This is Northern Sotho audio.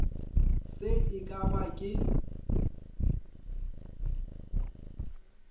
se e ka ba ka